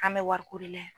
An bɛ wariko de la